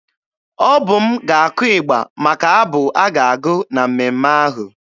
Ọ bụ m ga-akụ ịgba maka abụ a ga-agụ na mmemme ahụ.